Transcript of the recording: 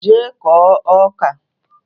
Jee kụọ ọka!